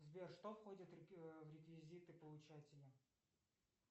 сбер что входит в реквизиты получателя